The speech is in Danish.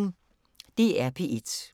DR P1